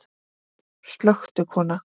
Slökktu kona.